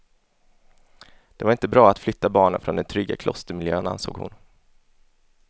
Det var inte bra att flytta barnen från den trygga klostermiljön, ansåg hon.